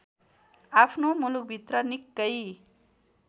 आफ्नो मुलुकभित्र निकै